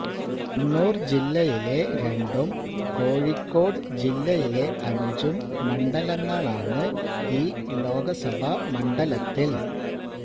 കണ്ണൂര് ജില്ലയിലെ രണ്ടും കോഴിക്കോട് ജില്ലയിലെ അഞ്ചും മണ്ഡലങ്ങളാണ് ഈ ലോകസഭാമണ്ഡലത്തില്